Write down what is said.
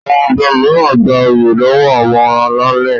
Àwọn ọba mìíràn gbà oyè lọwọ àwọn alálè.